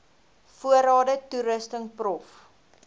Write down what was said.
voorrade toerusting prof